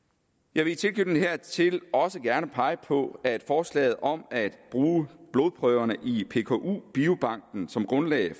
jeg vil i tilknytning hertil også gerne pege på at forslaget om at bruge blodprøverne i pku biobanken som grundlag